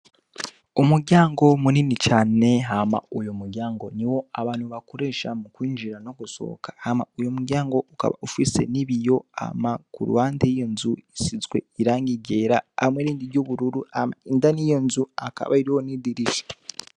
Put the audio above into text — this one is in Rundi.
Umuryango munini cane, hama uwo muryango ni wo abantu bakoresha mu kwinjira no gusohoka. Hama uwo muryango ufise n'ibiyo, hama ku ruhande y'iyo nzu, isizwe irangi ryera hamwe n'irindi ry'ubururu. Hama indani y'iyo nzu hakaba hariho n'idirisha.